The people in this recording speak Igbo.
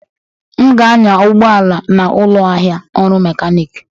M ga-anya ụgbọ ala na ụlọ ahịa ọrụ Mechanic